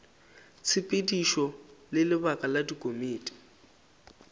tshepedišo le lebaka la dikomiti